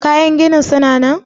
Kayan ginin suna nan?